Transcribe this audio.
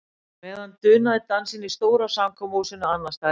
Á meðan dunaði dansinn í stóra samkomuhúsinu annars staðar í bænum.